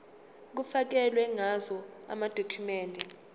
kufakelwe ngazo amadokhumende